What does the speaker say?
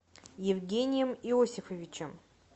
евгением иосифовичем